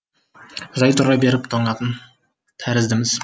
жай тұра беріп тоңатын тәріздіміз